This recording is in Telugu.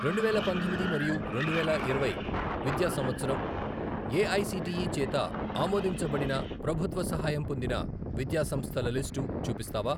రెండువేల పంతొమ్మిది మరియు రెండువేల ఇరవై విద్యా సంవత్సరం ఏఐసిటిఈ చేత ఆమోదించబడినప్రభుత్వ సహాయం పొందిన విద్యా సంస్థల లిస్టు చూపిస్తావా?